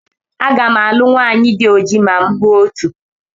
Aga m alụ nwanyị di ojii ma m hụ otu.